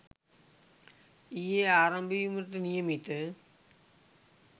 ඊයේ ආරම්භ වීමට නියමිත